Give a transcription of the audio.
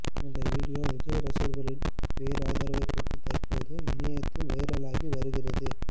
இந்த வீடியோ விஜய் ரசிகர்களின் பேராதரவை பெற்று தற்போது இணையத்தில் வைரலாகி வருகிறது